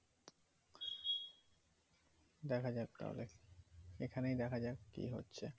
দেখা যাক তাহলে এখানেই দেখা যাক কি হচ্ছে